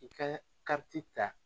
I kɛ kariti ta